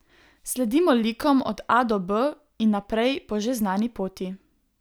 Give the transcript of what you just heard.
Sledimo likom od A do B in naprej po že znani poti.